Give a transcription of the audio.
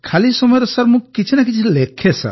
ଖାଲି ସମୟରେ ସାର୍ ମୁଁ କିଛି ନା କିଛି ଲେଖେ